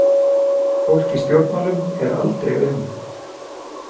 Fólk í stjórnmálum er aldrei auðmjúkt.